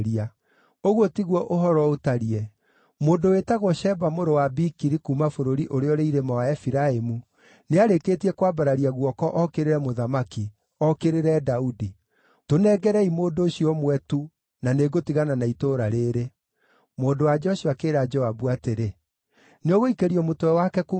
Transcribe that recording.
Ũguo tiguo ũhoro ũtariĩ. Mũndũ wĩtagwo Sheba mũrũ wa Bikiri, kuuma bũrũri ũrĩa ũrĩ irĩma wa Efiraimu, nĩarĩkĩtie kwambararia guoko ookĩrĩre mũthamaki, ookĩrĩre Daudi. Tũnengerei mũndũ ũcio ũmwe tu, na nĩngũtigana na itũũra rĩĩrĩ.” Mũndũ-wa-nja ũcio akĩĩra Joabu atĩrĩ, “Nĩũgũikĩrio mũtwe wake kuuma rũthingo-inĩ.”